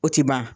O tɛ ban